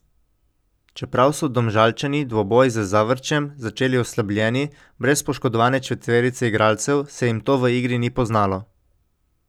Čeprav so Domžalčani dvoboj z Zavrčem začeli oslabljeni, brez poškodovane četverice igralcev, se jim to v igri ni poznalo.